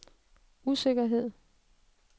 usikkerhed